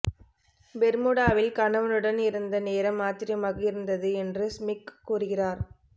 பெர்முடாவில் கணவனுடன் இருந்த நேரம் ஆச்சரியமாக இருந்தது என்று ஸ்மிக்க் கூறுகிறார்